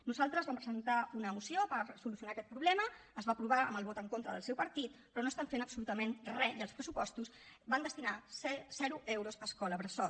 nosaltres vam presentar una moció per solucionar aquest problema es va aprovar amb el vot en contra del seu partit però no fan absolutament re i als pressupostos van destinar zero euros a escoles bressol